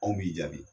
Anw b'i jaabi